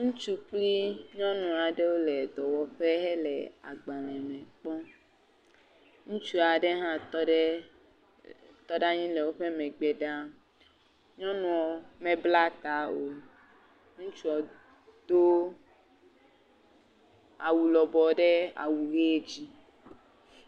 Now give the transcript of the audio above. Ŋutsu kpli nyɔnu aɖewo le dɔwɔƒe le agbalẽ me kpɔm, ŋutsu aɖe hã tɔ ɖe, tɔ ɖe anyi le woƒe megbe ɖaa, nyɔnua mebla ta o, ŋutsu do awu lɔbɔɔ ɖe awu hee dzi.